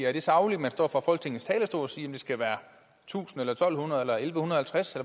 er det sagligt at man står fra folketingets talerstol og siger at det skal være tusind eller to hundrede eller elleve halvtreds